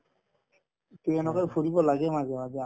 to এনেকুৱাকে ফুৰিব লাগে মাজে মাজে